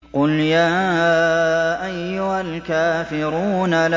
قُلْ يَا أَيُّهَا الْكَافِرُونَ